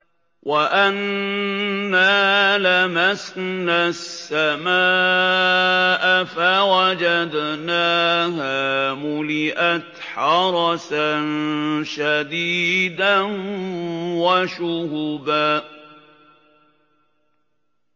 وَأَنَّا لَمَسْنَا السَّمَاءَ فَوَجَدْنَاهَا مُلِئَتْ حَرَسًا شَدِيدًا وَشُهُبًا